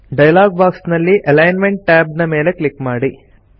dialogue box ನಲ್ಲಿ alignment tab ನ ಮೇಲೆ ಕ್ಲಿಕ್ ಮಾಡಿ